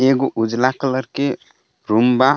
एगो उजला कलर के रूम बा।